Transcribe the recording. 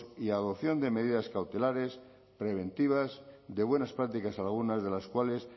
y adopción de medidas cautelares preventivas de buenas prácticas algunas de las cuales